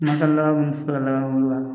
Maka laban min filɛ ka laban ga